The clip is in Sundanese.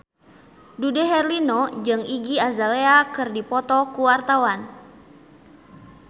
Dude Herlino jeung Iggy Azalea keur dipoto ku wartawan